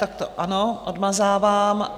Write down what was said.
Tak to ano, odmazávám.